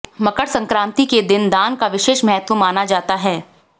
मकर संक्रांति के दिन दान का विशेष महत्त्व माना जाता है